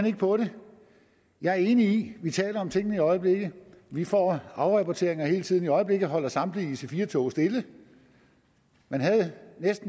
ikke på det jeg er enig i vi taler om tingene i øjeblikket vi får afrapporteringer hele tiden i øjeblikket holder samtlige ic4 tog stille man havde